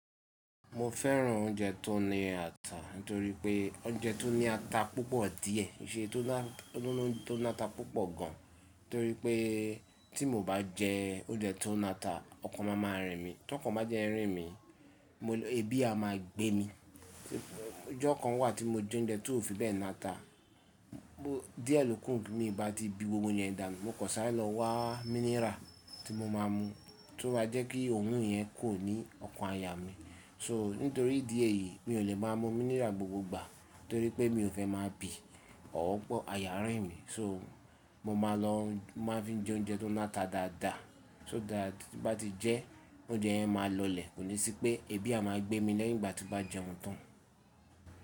Mo fẹ́ràn oúnjẹ tó ní ata nítorí pé oúnjẹ tó ní ata púpọ̀ díẹ̀, ìse tó ná ata púpọ̀ gan, nítorí pé tí mo bá jẹ oúnjẹ tó ni ata ọkàn máa máa rìn mí. Tí ọkàn bá jẹ́ rìn mí, eebi a máa gbé mi. Ọjọ́ kan wà tí mo jẹ oúnjẹ tó fi bẹ́ẹ̀ ni ata, díẹ̀ lóku mi bá ti bi gbogbo ounje yẹn dà mu mo kọ̀ sáre lo wá mineral tí mo máa ń mu, tí ó ma jẹ́ kí oorun yẹn kò ní ọkàn aya mi. So nítorí ìdí èyí mi ò lè máa mú mineral ni gbogbo ìgbà torí pé mi ò fẹ́ máa bi tabi pe ayà rìn mí, so, mo máa ń fi jẹ oúnjẹ tó ná ata dáadáa so tí bá ti jẹ oúnjẹ yẹn máa lọlẹ̀. Kò ní sí pé ebi a máa gbé mi lẹ́yìn ìgbà tí ó bá jẹun tán.